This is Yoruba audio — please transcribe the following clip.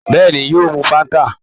Bẹ́ẹ̀ni, yóò mu Fáńtà.